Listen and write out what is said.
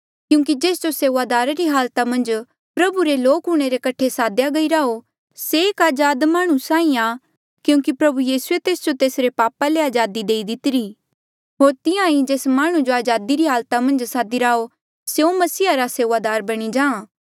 क्यूंकि जेस जो सेऊआदारा री हालाता मन्झ प्रभु रे लोक हूंणे रे कठे सादेया गईरा हो से एक अजाद माह्णुं साहीं आ क्यूंकि प्रभु यीसूए तेस जो तेसरे पापा ले अजादी देई दितीरी होर तिहां ईं जेस माह्णुं जो अजादी री हालाता मन्झ सदिरा हो स्यों मसीहा रा सेऊआदार बणी जाहाँ